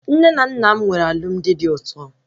Nne na nna m nwere alụmdi dị ụtọ